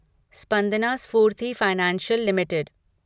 Spandana Sphoorty financial limited